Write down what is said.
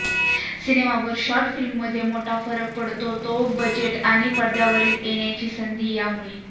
cinema व short फिल्ममध्ये मोठा फरक पडतो तो बजेट आणि पडद्यावर येण्याची संधी यामुळे